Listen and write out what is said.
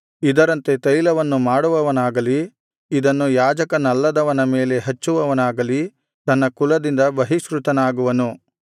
ಇದರಂತೆ ತೈಲವನ್ನು ಮಾಡುವವನಾಗಲಿ ಇದನ್ನು ಯಾಜಕನಲ್ಲದವನ ಮೇಲೆ ಹಚ್ಚುವವನಾಗಲಿ ತನ್ನ ಕುಲದಿಂದ ಬಹಿಷ್ಕೃತನಾಗುವನು